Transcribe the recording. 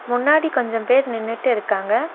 முன்னாடி கொஞ்சோ பேர் நின்னுட்டு இருக்காங்க.